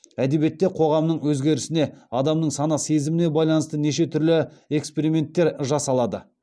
әдебиетте қоғамның өзгерісіне адамның сана сезіміне байланысты неше түрлі эксперименттер жасалады